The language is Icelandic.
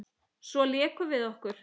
Svo lékum við okkur.